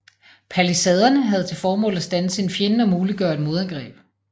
Palisaderne havde til formål at standse en fjende og muliggøre et modangreb